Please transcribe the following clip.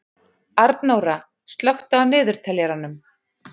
Arnóra, slökktu á niðurteljaranum.